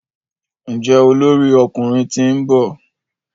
Njé olórí ọkùnrin t'in nbọ?